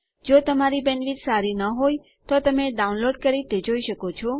જો તમારી બેન્ડવિડ્થ સારી ન હોય તો તમે ડાઉનલોડ કરી તે જોઈ શકો છો